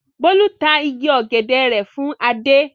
Bólú ta igi ọ̀gẹ̀dẹ̀ rẹ̀ fún Adé.